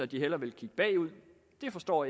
de hellere vil kigge bagud det forstår